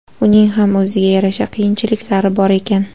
Uning ham o‘ziga yarasha qiyinchiliklari bor ekan.